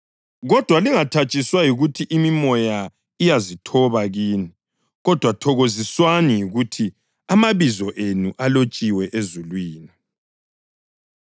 Kodwa lingathatshiswa yikuthi imimoya iyazithoba kini, kodwa thokoziswani yikuthi amabizo enu alotshiwe ezulwini.”